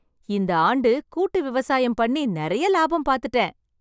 இந்த ஆண்டு, கூட்டு விவசாயம் பண்ணி நிறைய லாபம் பாத்துட்டேன்